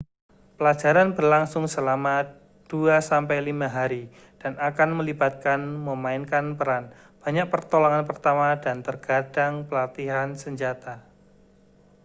pelajaran berlangsung selama 2-5 hari dan akan melibatkan memainkan peran banyak pertolongan pertama dan terkadang pelatihan senjata